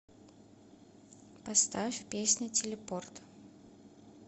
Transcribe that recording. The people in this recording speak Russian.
поставь песня телепорт